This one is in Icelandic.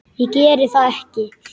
Ég geri það ekki!